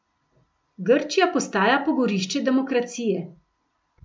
Grčija postaja pogorišče demokracije.